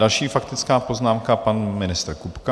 Další faktická poznámka, pan ministr Kupka.